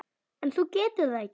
En þú getur það ekki.